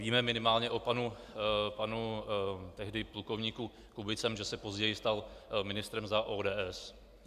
Víme minimálně o panu tehdy plukovníkovi Kubicemu, že se později stal ministrem za ODS.